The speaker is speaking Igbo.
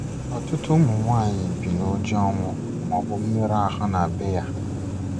Ọtụtụ ụmụ nwaanyị bi nụjọ ọnwụ maọbụ mmerụ ahụ na bee ya